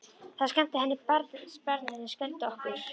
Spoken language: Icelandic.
Það sem skemmti barninu skelfdi okkur.